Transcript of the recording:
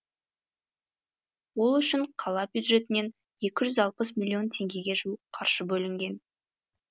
ол үшін қала бюджетінен екі жүз алпыс миллион теңгеге жуық қаржы бөлінген